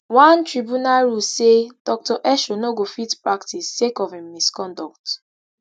one tribunal rule say dr esho no go fit practice sake of im misconduct